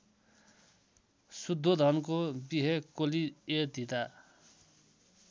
शुद्धोधनको विहे कोलीयधीता